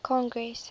congress